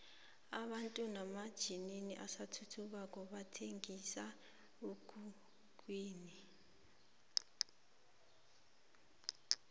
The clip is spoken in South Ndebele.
abantu hamatjninini asathuthukako bathenqisa emkhukhwini